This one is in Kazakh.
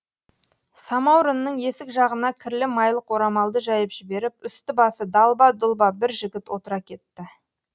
самаурынның есік жағына кірлі майлық орамалды жайып жіберіп үсті басы далба дұлба бір жігіт отыра кетті